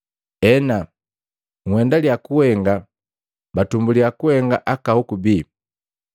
Hena, nhendilia kuhenga batumbulia kuhenga aka hoku bii!